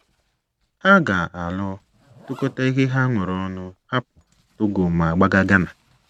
Ha ga - alụ, tụkọta ihe ha nwere ọnụ, hapụ Togo, ma gbaga Ghana.